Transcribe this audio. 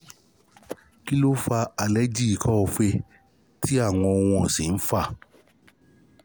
kini o fa aleji ikọ-fèé ti awọn ohun ọsin nfa?